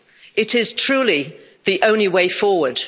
It is truly the only way forward.